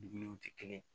Dumuniw tɛ kelen ye